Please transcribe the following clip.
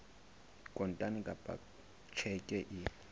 kontane kapa ka tjheke e